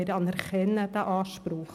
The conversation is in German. Wir anerkennen den Anspruch.